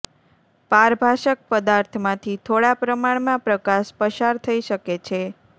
પારભાસક પદાર્થમાંથી થોડા પ્રમાણમાં પ્રકાશ પસાર થઈ શકે છે